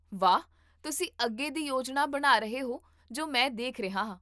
ਵਾਹ, ਤੁਸੀਂ ਅੱਗੇ ਦੀ ਯੋਜਨਾ ਬਣਾ ਰਹੇ ਹੋ ਜੋ ਮੈਂ ਦੇਖ ਰਿਹਾ ਹਾਂ